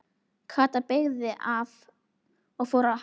Kata beygði af og fór að hágráta.